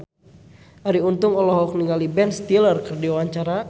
Arie Untung olohok ningali Ben Stiller keur diwawancara